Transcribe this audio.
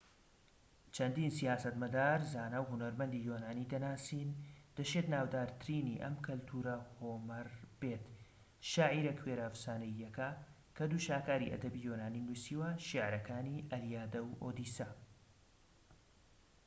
چەندین سیاسەتمەدار زانا و هونەرمەندی یۆنانی دەناسین دەشێت ناودارترینی ئەم کەلتورە هۆمەر بێت شاعیرە کوێرە ئەفسانەییەکە کە دوو شاکاری ئەدەبی یۆنانی نووسیوە شیعرەکانی ئەلیادە و ئۆدیسە